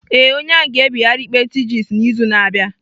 Ee, onye ahụ ga-ebigharị ikpe thjs n'izu na-abịa.